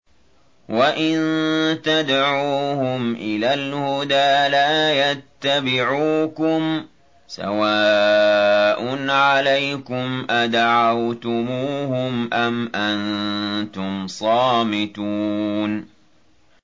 وَإِن تَدْعُوهُمْ إِلَى الْهُدَىٰ لَا يَتَّبِعُوكُمْ ۚ سَوَاءٌ عَلَيْكُمْ أَدَعَوْتُمُوهُمْ أَمْ أَنتُمْ صَامِتُونَ